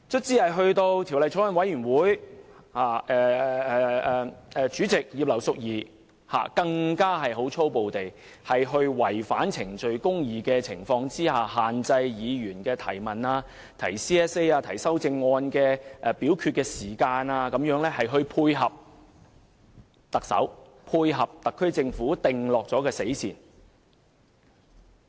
在法案委員會審議階段，主席葉劉淑儀議員在違反程序公義的情況下，粗暴限制議員提出質詢、提出修正案，為表決時間設限，配合特首、特區政府訂下的死線。